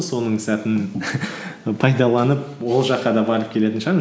соның сәтін пайдаланып ол жаққа да барып келетін шығармын